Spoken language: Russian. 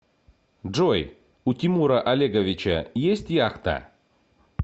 джой у тимура олеговича есть яхта